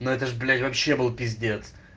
но это же блять вообще был пиздец